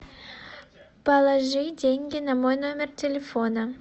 положи деньги на мой номер телефона